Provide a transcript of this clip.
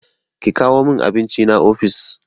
Ki kawo min abincina ofis!